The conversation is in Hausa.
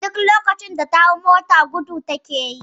Duk lokacin da ta hau mota gudu take yi